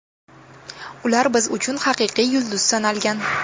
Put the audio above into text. Ular biz uchun haqiqiy yulduz sanalgan.